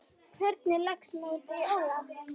Hvernig leggst mótið í Ólaf?